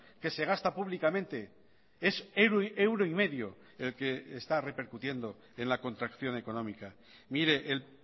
que se gasta públicamente es euro y medio el que está repercutiendo en la contracción económica mire el